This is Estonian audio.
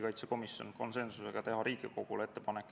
Kas fraktsioonidel on soovi pidada läbirääkimisi?